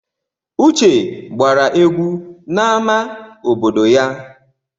Uche gbara egwu n'amá obodo ya.